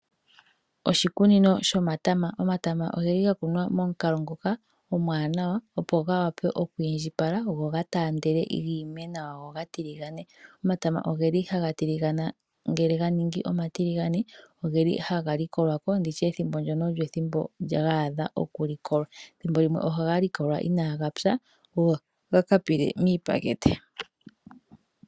Oshikunino shomatama, omatama ogeli ga kunwa momukalo ngoka omwaanawa opo ga wape okwiindjipala go ga taandele gi ime nawa go gatiligane. Omatama ogeli haga tiligana ngele ga ningi omatiligane, ogeli haga likolwako nditye ethimbo ndono olyo ethimbo gaadha oku likolwa, thimbo limwe oha ga likolwa inaa gatsa go gakapile miipakete.